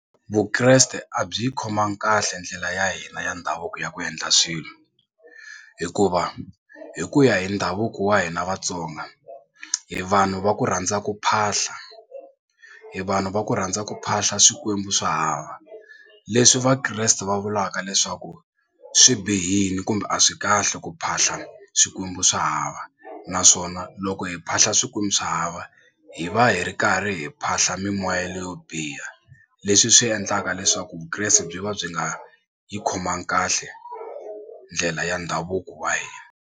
Vukreste a byi yi khomangi kahle ndlela ya hina ya ndhavuko ya ku endla swilo hikuva hi ku ya hi ndhavuko wa hina Vatsonga hi vanhu va ku rhandza ku phahla hi vanhu va ku rhandza ku phahla swikwembu swa hava leswi vakreste va vulaka leswaku swi bihile kumbe a swi kahle ku phahla swikwembu swa hava naswona loko hi phahla lahla swikwembu swa hava hi va hi ri karhi hi phahla mimoya leyo biha leswi swi endlaka leswaku vukreste byi va byi nga yi khomangi kahle ndlela ya ndhavuko wa hina.